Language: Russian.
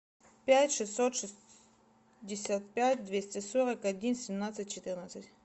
пять шестьсот шестьдесят пять двести сорок один семнадцать четырнадцать